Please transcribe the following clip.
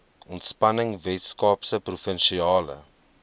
ontspanning weskaapse provinsiale